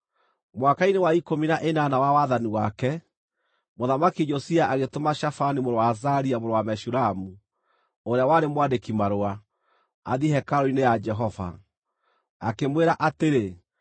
Mwaka-inĩ wa ikũmi na ĩnana wa wathani wake, Mũthamaki Josia agĩtũma Shafani mũrũ wa Azalia mũrũ wa Meshulamu, ũrĩa warĩ mwandĩki-marũa, athiĩ hekarũ-inĩ ya Jehova. Akĩmwĩra atĩrĩ: